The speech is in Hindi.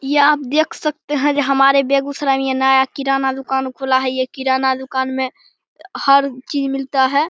ये आप देख सकते है। हमारे बेगुसराय में ये किराना दुकान खुला है ये किराणा दुकान मे हर चीज मिलता है।